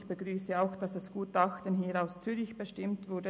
Ich begrüsse es auch, dass das Gutachten hier aus Zürich bestimmt wurde.